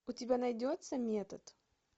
у тебя найдется метод